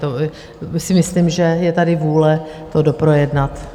To si myslím, že je tady vůle to doprojednat.